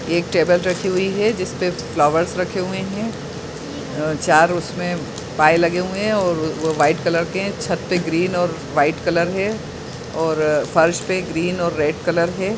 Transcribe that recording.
एक टेबल रखी हुई है जिसपे फ्लावर्स रखे हुए है अ-चार उसमें पाय लगे हुए है और व-वो व्हाइट कलर के है छत पे ग्रीन और व्हाइट कलर है और फर्श पे ग्रीन और रेड कलर है।